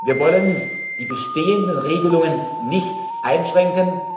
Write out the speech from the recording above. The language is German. Wir wollen die bestehenden Regelungen nicht einschränken.